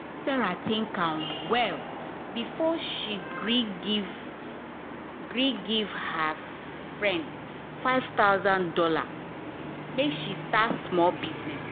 sarah think am well before she gree give gree give her friend five thousand dollars make she start small business.